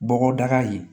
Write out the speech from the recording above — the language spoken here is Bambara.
Bɔgɔdaga ye